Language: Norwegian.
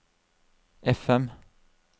FM